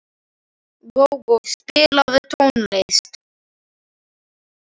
Gógó, spilaðu tónlist.